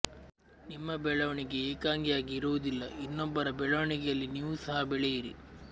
ನಿಮ್ಮ ಬೆಳವಣಿಗೆ ಏಕಾಂಗಿಯಾಗಿ ಇರುವುದಿಲ್ಲ ಇನ್ನೊಬ್ಬರ ಬೆಳವಣಿಗೆಯಲ್ಲಿ ನೀವು ಸಹ ಬೆಳೆಯಿರಿ